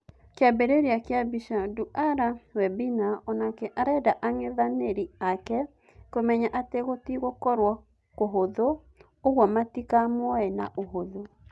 Kĩambĩrĩria kĩa mbica, Nduara Webina Onake arenda ang'ethanĩri ake kũmenya atĩ gũtigũkorwo kũhũthũ ũguo matikamuoye na ũhũthũ.